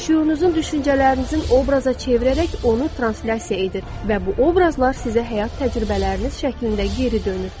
Şüurunuzun düşüncələrinizin obraza çevirərək onu translyasiya edir və bu obrazlar sizə həyat təcrübəniz şəklində geri dönür.